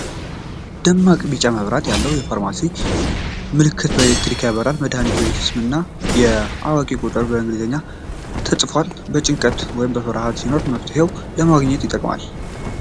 ደማቅ ቢጫ መብራት ያለው፣ የፋርማሲ ምልክት በሌሊት ያበራል። የመድኃኒት ቤት ስምና የእውቂያ ቁጥር በአማርኛና በእንግሊዝኛ ተጽፏል። ጭንቀት ወይም ፍርሃት ሲኖር መፍትሔ ለማግኘት ይጠቅማል።